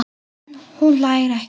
En hún hlær ekki.